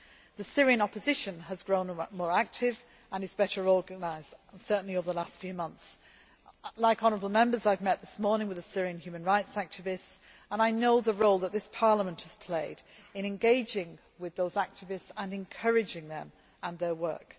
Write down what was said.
The Syrian opposition has grown more active and is better organised, certainly over the last few months. Like honourable Members, I have met this morning with a Syrian Human Rights activist and I know the role that this Parliament has played in engaging with those activists and encouraging them and their work.